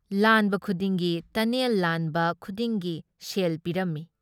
ꯂꯥꯟꯕ ꯈꯨꯗꯤꯡꯒꯤ ꯇꯅꯦꯜ ꯂꯥꯟꯕ ꯈꯨꯗꯤꯡꯒꯤ ꯁꯦꯜ ꯄꯤꯔꯝꯃꯤ ꯫